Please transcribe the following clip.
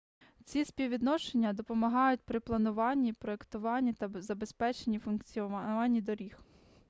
ці співвідношення допомагають при плануванні проектуванні та забезпеченні функціонування доріг